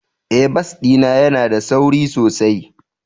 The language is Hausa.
Ee, bas ɗin yana da sauri sosai.